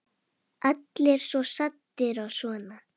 Allir svo saddir og svona.